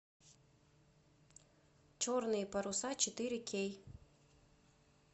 черные паруса четыре кей